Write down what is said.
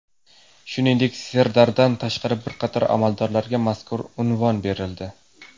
Shuningdek, Serdardan tashqari bir qator amaldorlarga mazkur unvon berildi.